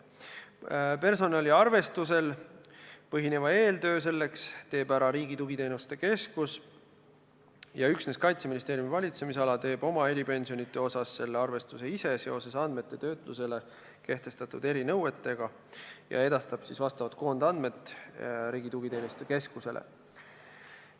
Personaliarvestusel põhineva eeltöö selleks teeb ära Riigi Tugiteenuste Keskus, üksnes Kaitseministeeriumi valitsemisala teeb oma eripensionide kohta selle arvestuse ise, andmete töötlusele kehtestatud erinõuete tõttu, ja edastab vastavad koondandmed Riigi Tugiteenuste Keskusele.